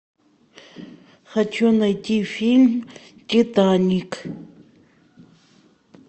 хочу найти фильм титаник